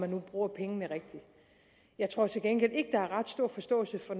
nu bruger pengene rigtigt jeg tror til gengæld ikke der er ret stor forståelse for